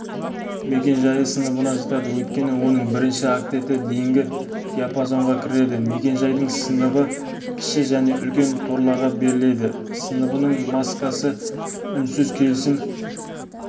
мекен жайы сыныбына жатады өйткені оның бірінші октеті дейінгі диапазонға кіреді мекен-жайдың сыныбы кіші және үлкен торларға беріледі сыныбының маскасы үнсіз келісім